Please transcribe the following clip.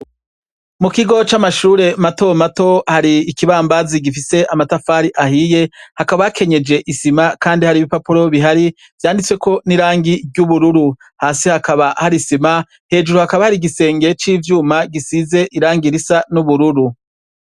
Mukigo c'amashure matomato hari ikibambazi gifise amatafari ahiye, hakaba hakenyeje isima kandi hari ibipapuro bihari vyanditseko nirangi ry'ubururu, hasi hakaba hari isima, hejuru hakaba hari igisenge civyuma gisize irangi ry'ubururu.